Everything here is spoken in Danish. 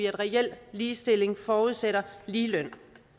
reel ligestilling forudsætter ligeløn